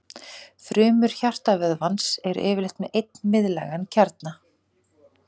Frumur hjartavöðvans eru yfirleitt með einn miðlægan kjarna.